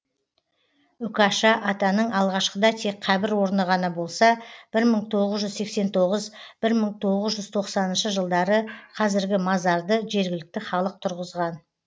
үкаша атаның алғашқыда тек қабір орны ғана болса бір мың тоғвз жүз сексен тоғыз бір мың тоғыз жүз тоқсаныншы жылдары қазіргі мазарды жергілікті халық тұрғызған